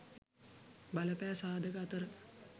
බලපෑ සාධක අතර